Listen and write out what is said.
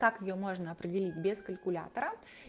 как её можно определить без калькулятора